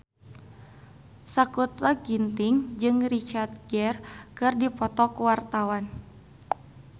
Sakutra Ginting jeung Richard Gere keur dipoto ku wartawan